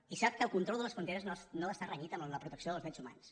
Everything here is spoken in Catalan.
i sap que el control de les fronteres no està renyit amb la protecció dels drets humans